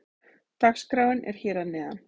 Dagskráin er hér að neðan.